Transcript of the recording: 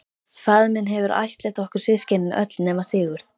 Faðir minn hefur ættleitt okkur systkinin öll nema Sigurð.